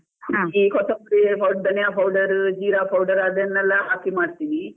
ಕೊತಂಬರಿ, ಧನಿಯಾ powder , ಜೀರ powder ಅದನ್ನೆಲ್ಲಾ ಹಾಕಿ ಮಾಡ್ತಿನಿ.